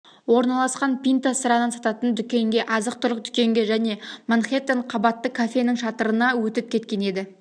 орналасқан пинта сыраны сататын дүкенге азық-түлік дүкенге және манхеттен қабатты кафенің шатырына өтіп кеткен еді